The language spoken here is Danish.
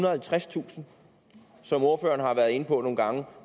og halvtredstusind som ordføreren har været inde på nogle gange